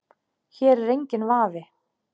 Hér er enginn vafi.